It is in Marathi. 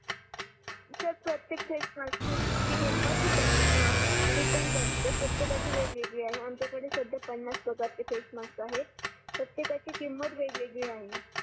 सर प्रतेक फेस मास्कची किमत ही त्याच्या डिपेण्ड करते प्रतेकची वेगवगेळी आहे आमच्या कडे सध्या पन्नस प्रकारचे फेस मास्क आहे प्रतेकची किमत वेगवेगळी आहे